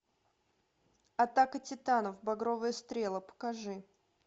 атака титанов багровые стрелы покажи